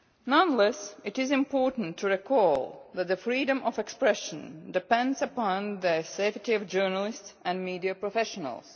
Nonetheless, it is important to recall that the freedom of expression depends upon the safety of journalists and media professionals.